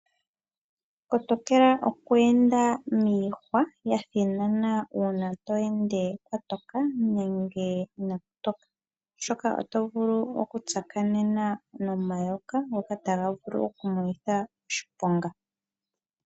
Kotokela okweenda miihwa yathinana, uuna to ende kwatoka, nenge inaaku toka, oshoka oto vulu okutsakanena nomayoka, ngoka taga vulu oku kumonitha oshiponga.